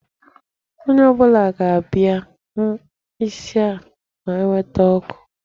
Onye ọ bụla ga-abịa hụ isi a ma eweta ọkụ